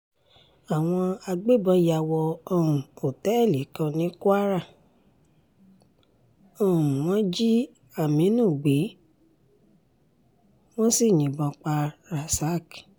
àwọn agbébọn yà wọ um òtẹ́ẹ̀lì kan ní kwara um wọn jí aminu gbé wọ́n sì yìnbọn pa rasak